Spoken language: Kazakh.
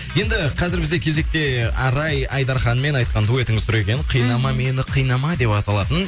енді қазір бізде кезекте арай айдарханмен айтқан дуэтіңіз тұр екен қинама мені қинама деп аталатын